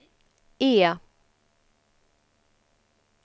E